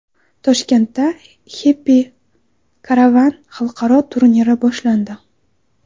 Toshkentda Happy Caravan xalqaro turniri boshlandi .